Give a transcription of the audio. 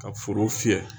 Ka foro fiyɛ